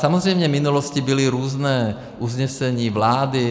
Samozřejmě v minulosti byla různá usnesení vlády.